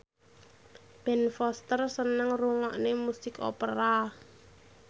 Ben Foster seneng ngrungokne musik opera